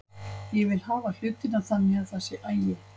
Ég vil hafa hlutina þannig að það sé agi.